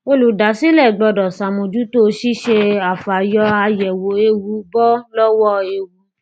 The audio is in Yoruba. olùdásílẹ gbọdọ ṣàmójútó ṣíṣe àfàyọàyẹwò ewu bọ lọwọ ewu